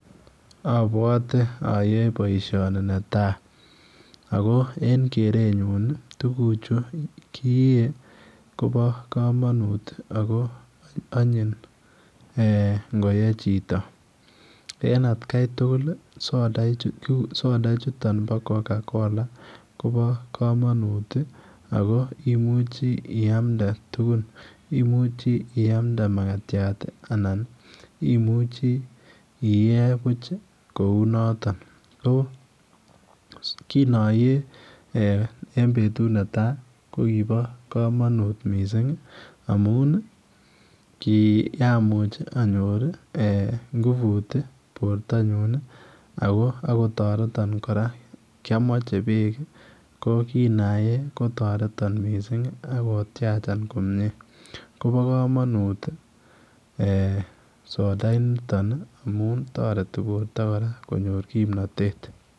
Abwate ayae boisioni ne tai ako en keretnyuun ii, tuguuk chu kiteen agobo kamanut ago anyin eeh ngo koyee chito, en at gai tugul soda chutoon ngoyee chitoo soda chutoon bo [Coca-Cola] Kobo kamanut ako imuuchi iyamdee tugun ,imuchii iyamde makatiat ii anan imuchii iyee buuch kou notoon ko kiin ayee eeh en betut netai ko kiboo kamanut missing amuun ii komuuch anyoor, nguvuut ii borto nyuun ii ako taretaan kora kotaretii biik ko kin ayee kotaretan ak tyachaan komyei Kobo kamanuut eeh soda initoon ii amuun taretii borto kora konyoor kimnatet.